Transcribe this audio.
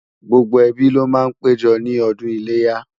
gbógbó ẹbí ló má pé jọ ní ọdún iléyá